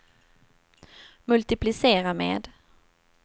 multiplicera med